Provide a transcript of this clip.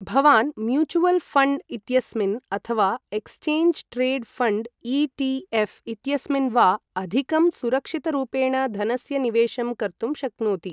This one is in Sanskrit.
भवान् म्यूचुअवल् फ़ण्ड् इत्यस्मिन् अथवा एक्सचेंज ट्रेड् फ़ण्ड् ई.टी.एफ़् इत्यस्मिन् वा अधिकं सुरक्षितरूपेण धनस्य निवेशं कर्तुं शक्नोति।